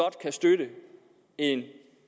kan støtte en